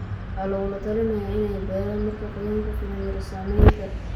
waxaa lagula talinayaa inay beeraan marka qoyaan ku filan jiro. Saamaynta